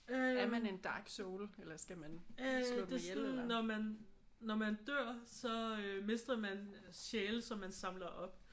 Øh øh det er sådan når man når man dør så mister man sjæle som man samler op